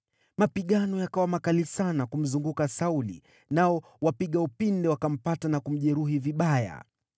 Mapigano yakawa makali sana kumzunguka Sauli, nao wapiga upinde wakampata na kumjeruhi vibaya.